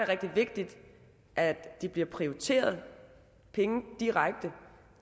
rigtig vigtigt at der bliver prioriteret penge direkte